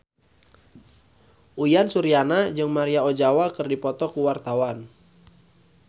Uyan Suryana jeung Maria Ozawa keur dipoto ku wartawan